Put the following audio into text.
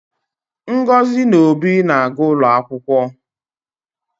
Ngozi na Obi na-aga ụlọ akwụkwọ